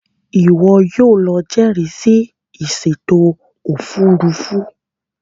Iwọ yóò ló jẹrisi ìsèto òfurufú